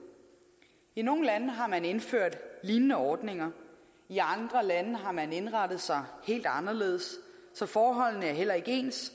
i nogle lande har man indført lignende ordninger i andre lande har man indrettet sig helt anderledes så forholdene er heller ikke ens og